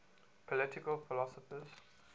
political philosophers